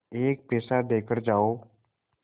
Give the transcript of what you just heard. एक पैसा देकर जाओ